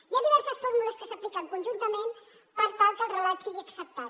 hi ha diverses fórmules que s’apliquen conjuntament per tal que el relat sigui acceptat